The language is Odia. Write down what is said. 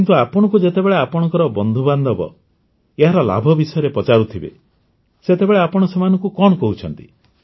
କିନ୍ତୁ ଆପଣଙ୍କୁ ଯେତେବେଳେ ଆପଣଙ୍କ ବନ୍ଧୁବାନ୍ଧବ ଏହାର ଲାଭ ବିଷୟରେ ପଚାରୁଥିବେ ସେତେବେଳେ ଆପଣ ସେମାନଙ୍କୁ କଣ କହୁଛନ୍ତି